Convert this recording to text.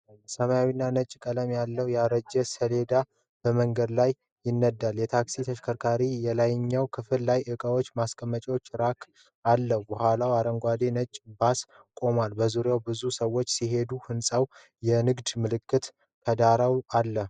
ሰማያዊና ነጭ ቀለም ያለው ያረጀ ሴዳን በመንገድ ላይ ይነዳል። የታክሲ ተሽከርካሪው የላይኛው ክፍል ላይ ለዕቃዎች ማስቀመጫ ራክ አለው። ከኋላው አረንጓዴና ነጭ ባስ ቆሟል። በዙሪያው ብዙ ሰዎች ሲሄዱ፣ ህንጻዎችና የንግድ ምልክቶች ከዳራው አሉ።